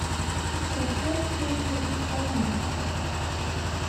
поставь песню испания